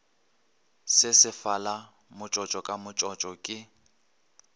sesefala motsotso ka motsotso ke